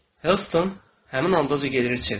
Heston həmin anda Drolqamə çevrildi.